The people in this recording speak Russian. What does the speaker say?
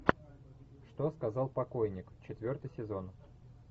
что сказал покойник четвертый сезон